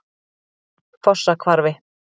Fossahvarfi